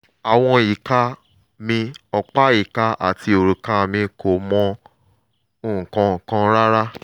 àwọn ìka mi ọ̀pá ìka àti òrùka mi kò mọ nǹkan kan rárá